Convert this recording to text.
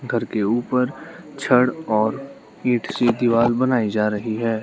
घर के ऊपर छड़ और इट से दीवार बनाई जा रही है।